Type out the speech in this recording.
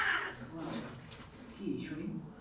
ও আচ্ছা কি শুনি।